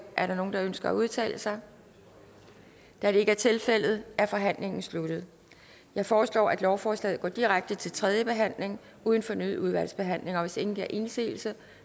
er der nogen der ønsker at udtale sig da det ikke er tilfældet er forhandlingen sluttet jeg foreslår at lovforslaget går direkte til tredje behandling uden fornyet udvalgsbehandling hvis ingen gør indsigelse